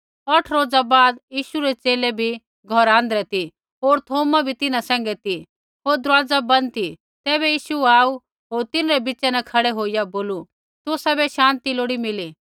औठ रोजा बाद यीशु रै च़ेले भी घौरा आँध्रै ती होर थौमा भी तिन्हां सैंघै ती होर दरूवाजा बन्द ती तैबै यीशु आऊ होर तिन्हरै बिच़ा न खड़ै होईया बोलू तुसाबै शान्ति लोड़ी मिली